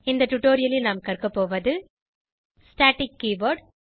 இந்த டுடோரியலில் நாம் கற்கபோவது ஸ்டாட்டிக் கீயோவேர்ட்